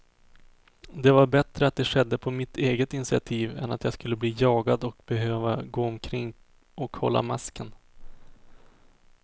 Det var bättre att det skedde på mitt eget initiativ än att jag skulle bli jagad och behöva gå omkring och hålla masken.